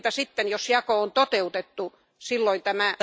Entä sitten, jos jako on toteutettu, silloin tämä